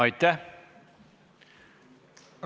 Aitäh!